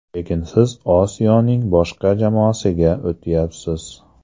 Lekin siz Osiyoning boshqa jamoasiga o‘tyapsiz.